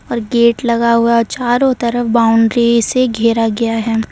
और गेट लगा हुआ चारों तरफ बाउंड्री से घेरा गया है।